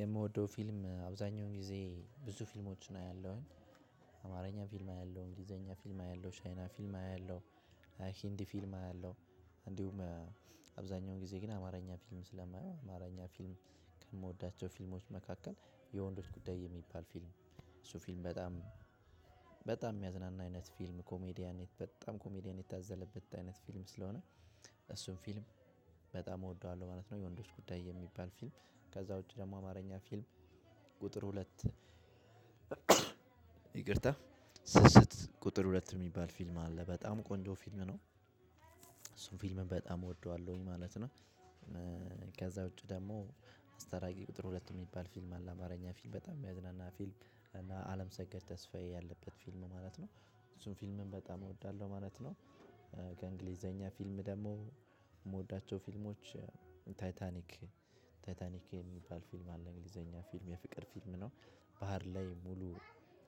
የምወደው ፊልም አብዛኛው ጊዜ ብዙ ፊልሞች አያለሁኝ አማርኛ ፊልም አያለሁኝ እንግሊዘኛ ፊልም አያለሁኝ ቻይና ፊልም አያለሁኝ ሂንዲ ፊልም አያለሁ እንዲሁም አብዛኛውን ጊዜ ግን አማርኛ ፊልም ስለማየው አማርኛ ፊልም ከምወዳቸው ፊልሞች መካከል የወንዶች ጉዳይ የሚባል ፊልም እሱ ፊልም በጣም በጣም የሚያዝናና አይነት ፊልም ኮሜዲያን በጣም ኮሜዲያን የታዘለበት አይነት ፊልም ስለሆነ እሱን ፊልም በጣም እወደዋለሁ ማለት ነው። የወንዶች ጉዳይ የሚባል ፊልም ከዛ ውጪ ደግሞ አማርኛ ፊልም ቁጥር ሁለት ይቅርታ ስስት ቁጥር ሁለት የሚባል ፊልም አለ በጣም ቆንጆ ፊልም ነው እሱን ፊልም በጣም እወደዋለሁኝ ማለት ነው። ከዛ ውጪ ደግሞ አስታራቂ ቁጥር ሁለት የሚባል ፊልም አለ አማርኛ ፊልም በጣም የሚያዝናና ፊልም እና አለም ሰከድ ተስፋዬ ያለበት ፊልም ማለት ነው እሱን ፊልምን በጣም እወዳለሁ ማለት ነው። ከእንግሊዘኛ ፊልም ደግሞ የምወዳቸው ፊልሞች ታይታኒክ ታይታኒክ የሚባል ፊልም አለ እንግሊዘኛ ፊልም የፍቅር ፊልም ነው። ባህር ላይ ሙሉ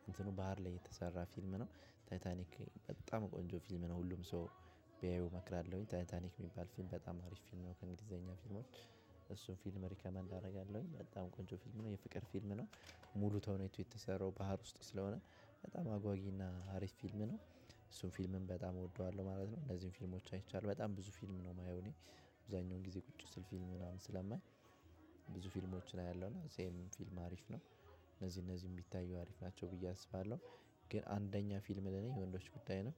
እንትኑ ባህር ላይ የተሰራ ፊልም ነው። ታይታኒክ በጣም ቆንጆ ፊልም ነው ሁሉም ቢያየው እመክራለሁኝ ታይታኒክ የሚባል ፊልም በጣም ምርጥ ፊልም ነው። ከእንግሊዘኛ ፊልሞች እሱን ፊልም ሪከመንድ አደርጋለሁኝ በጣም ቆንጆ ፊልም ነው። የፍቅር ፊልም ነው። ሙሉት አሁን የተሰራው ባህር ውስጥ ስለሆነ በጣም አጓጊና ሀሪፍ ፊልም ነው። እሱን ፊልምን በጣም እወደዋለሁ ማለት ነው። እነዚህን ፊልሞች አይቻልም በጣም ብዙ ፊልም ነው የማየው እኔ። አብዛኛው ጊዜ ቁጭ ስል ፊልም ምናምን ስለማይ ብዙ ፊልሞችን አያለሁ። እና ሴም ፊልም አሪፍ ነው እነዚህ እነዚህ የሚታየው አሪፍ ናቸው ብዬ አስባለሁ። ግን አንደኛ ፊልም ለኔ ወንዶች ጉዳይ ነው።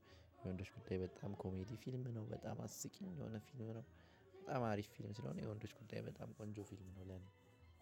ወንዶች ጉዳይ በጣም ኮሜዲ ፊልም ነው በጣም አስቂኝ የሆነ ፊልም ነው። በጣም አሪፍ ፊልም ስለሆነ የወንዶች ቁጥጥር በጣም ቆንጆ ፊልም ነው ለኔ።